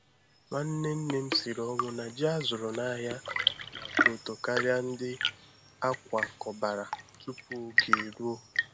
Nwanne nne m siri ọnwụ na ji a zụrụ n’ahịa na-atọ ụtọ karịa ndị a kwakọbara tupu oge eruo.